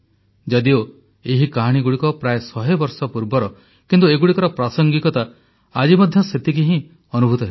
ଯଦିଓ ଏହି କାହାଣୀଗୁଡ଼ିକ ପ୍ରାୟ ଶହେ ବର୍ଷ ପୂର୍ବର କିନ୍ତୁ ଏଗୁଡ଼ିକର ପ୍ରାସଙ୍ଗିକତା ଆଜି ମଧ୍ୟ ସେତିକି ହିଁ ଅନୁଭୂତ ହେଉଛି